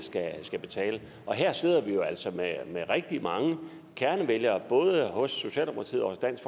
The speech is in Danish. skal betale og her sidder vi jo altså med rigtig mange kernevælgere både hos socialdemokratiet og hos dansk